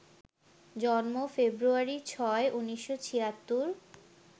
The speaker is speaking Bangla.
জন্ম, ফেব্রুয়ারি ৬, ১৯৭৬